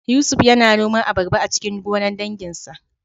Yusuf yana noman abarba a cikin gonar danginsa